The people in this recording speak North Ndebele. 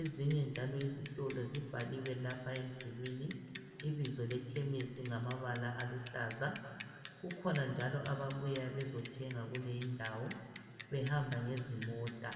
Ezinye njalo iizitolo zibhaliwe lapha emdulwini ibizo lekhemesi ngamabala aluhlaza. Kukhona njalo ababuya bezothenga kuleyi ndawo behamba ngezimota